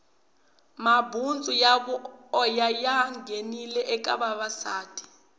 mabutsu ya voya ya nghenile eka vavasati